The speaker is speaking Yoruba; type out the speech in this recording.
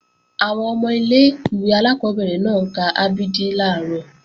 Àwọn ọmọ ilé-ìwé alákọ́bẹ̀rẹ̀ náà ń ka a b d làárọ̀